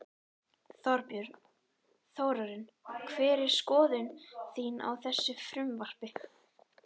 Þorbjörn: Þórarinn hver er skoðun þín á þessu frumvarpi?